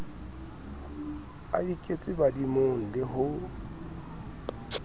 a iketse badimong le ho